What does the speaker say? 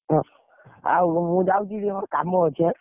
ଓ ମୁଁ ଯାଉଛି ମୋର କାମ ଅଛି ଏଁ।